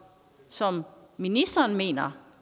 som ministeren mener